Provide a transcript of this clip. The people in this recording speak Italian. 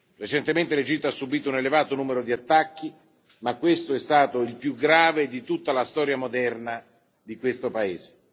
Recentemente l'Egitto ha subito un elevato numero di attacchi, ma questo è stato il più grave di tutta la storia moderna di questo paese.